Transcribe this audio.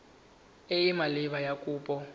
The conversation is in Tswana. e e maleba ya kopo